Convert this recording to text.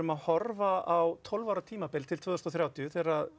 að horfa á tólf ára tímabil til tvö þúsund og þrjátíu þegar